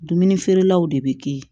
Dumuni feerelaw de bɛ kɛ ye